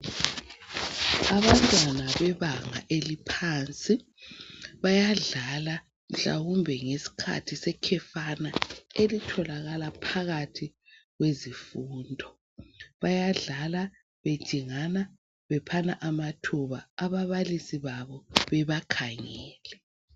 Abantwana bebanga eliphansi bayadlala mhlawumbe ngesikhathi sekhefana elitholakala phakathi kwezifundo. Bayadlala bejingani bephana amathuba. Ababalisi babo bebakhangele.